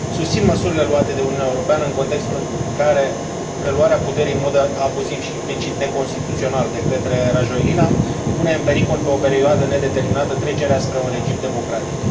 Susțin măsurile luate de Uniunea Europeană în contextul în care preluarea puterii în mod abuziv și, implicit, neconstituțional de către Rajoelina pune în pericol pentru o perioadă nedeterminată trecerea spre un regim democratic.